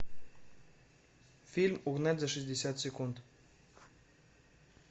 фильм угнать за шестьдесят секунд